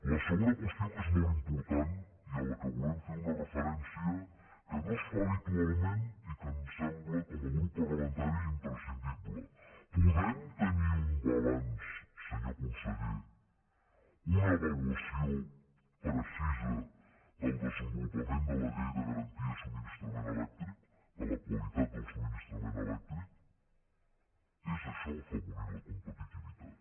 la segona qüestió que és molt important i a la qual volem fer una referència que no es fa habitualment i que ens sembla com a grup parlamentari imprescindible podem tenir un balanç senyor conseller una avaluació precisa del desenvolupament de la llei de garantia i subministrament elèctric de la qualitat del subministrament elèctric és això afavorir la competitivitat